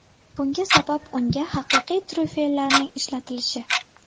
Bunga sabab unga haqiqiy tryufellarning ishlatilishi.